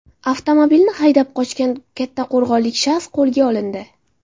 Avtomobilni haydab qochgan kattaqo‘rg‘onlik shaxs qo‘lga olindi.